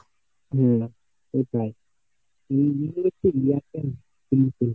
হম